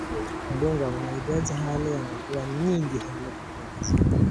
Mpunga unahitaji hali ya mvua nyingi ili kukua vizuri.